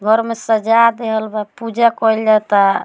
घर में सजा देएल बा पुजा कइल जाता।